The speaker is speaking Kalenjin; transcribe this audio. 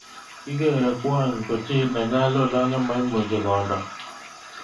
Kikerei kwony ko chi nenyalulat nemoimuchi kondo